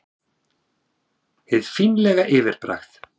Hið fínlega yfirbragð